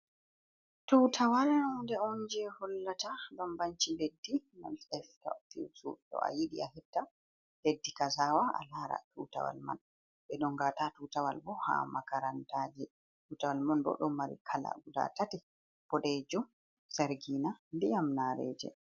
Tutawal hunde on je hollata bambanci leddi nfft, do a yidi a hetta leddi kazawa a lara tutawal man bedonga ta tutawal bo ha makarantaji utawal man bo do mari kala guda tati bodejo sargina diyam nareje.